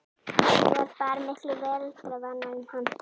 Hún var bara miklu veraldarvanari en hann.